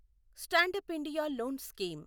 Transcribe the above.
stand up India loan scheme